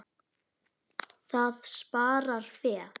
Það sparar fé.